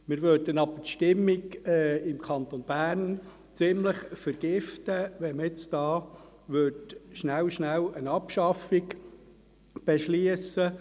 Wir würden jedoch die Stimmung im Kanton Bern ziemlich vergiften, wenn wir schnell, schnell eine Abschaffung beschlössen.